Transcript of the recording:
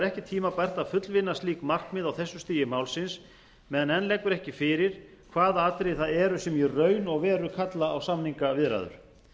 vegar ekki tímabært að fullvinna slík markmið á þessu stigi málsins meðan enn liggur ekki fyrir hvaða atriði það eru sem í raun og veru kalla á samningaviðræður